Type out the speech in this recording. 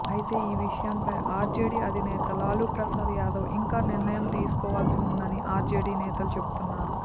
అయితే ఈ విషయమై ఆర్జేడీ అధినేత లాలూ ప్రసాద్ యాదవ్ ఇంకా నిర్ణయం తీసుకోవాల్సి ఉందని ఆర్జేడీ నేతలు చెబుతున్నారు